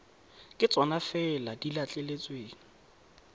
ke tsona fela di letleletsweng